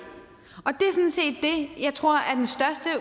tror